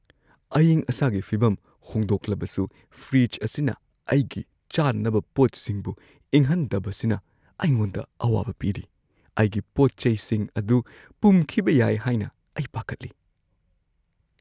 ꯑꯏꯪ-ꯑꯁꯥꯒꯤ ꯐꯤꯚꯝ ꯍꯣꯡꯗꯣꯛꯂꯕꯁꯨ ꯐ꯭ꯔꯤꯖ ꯑꯁꯤꯅ ꯑꯩꯒꯤ ꯆꯥꯅꯅꯕ ꯄꯣꯠꯁꯤꯡꯕꯨ ꯏꯪꯍꯟꯗꯕꯁꯤꯅ ꯑꯩꯉꯣꯟꯗ ꯑꯋꯥꯕ ꯄꯤꯔꯤ – ꯑꯩꯒꯤ ꯄꯣꯠ-ꯆꯩꯁꯤꯡ ꯑꯗꯨ ꯄꯨꯝꯈꯤꯕ ꯌꯥꯏ ꯍꯥꯏꯅ ꯑꯩ ꯄꯥꯈꯠꯂꯤ꯫